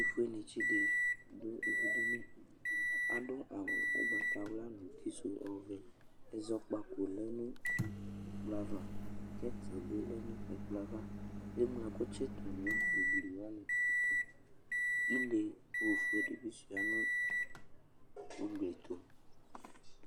Ɛtʋfuenɩtsɩ ɖɩ ɖʋ ivuɖini; aɖʋ awʋ ʋgbatawla, utisʋ ɔvɛƐzɔƙpaƙo nʋ ƙɛt bɩ lɛ nʋ ɛƙplɔ avaEŋlo ɛƙʋ tsɩtʋ nʋ ugli tʋ,ile ofue ɖɩ bɩ sʋɩa nʋ uglitʋ